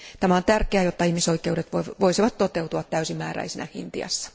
Tämä on tärkeää, jotta ihmisoikeudet voisivat toteutua täysimääräisinä Intiassa.